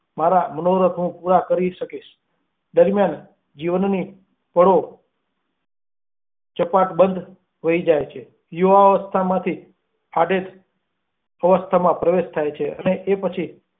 મારા પનીરય હું પૂરા કરી શકીશ દરમ્યાન જીવનની પળો ચપાટાબંધ વહી જાય છે, યુવાવસ્થામાંથી આધેડ અવસ્થાનાં પ્રવેશ થાય છે અને એ પછી.